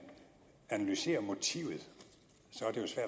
analyserer motivet